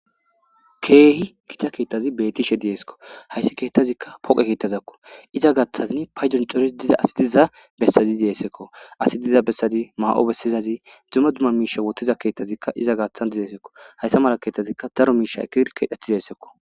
keehi gita keettazi beetishe deeskko hayssi keettazikka poqe keettazakko iza gaaththazinn paydoncoris diza asidiza bessazi deesekko asi diza bessadi maa7o bessizazi dzummo dumma miisha wottiza keettazikka iza gaathan dideesekko hayssa mala keettazikka daro miisha ekir keedheti deessekko